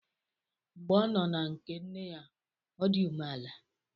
Mgbe ọ nọ na nke nne ya, o di umeala